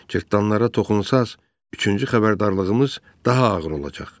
Cırtanlara toxunsaz, üçüncü xəbərdarlığımız daha ağır olacaq.